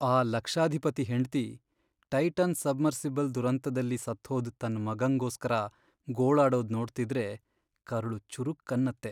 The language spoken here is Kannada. ಆ ಲಕ್ಷಾಧಿಪತಿ ಹೆಂಡ್ತಿ ಟೈಟಾನ್ ಸಬ್ಮರ್ಸಿಬಲ್ ದುರಂತ್ದಲ್ಲಿ ಸತ್ಹೋದ್ ತನ್ ಮಗಂಗೋಸ್ಕರ ಗೋಳಾಡೋದ್ ನೋಡ್ತಿದ್ರೆ ಕರುಳು ಚುರುಕ್ ಅನ್ನತ್ತೆ.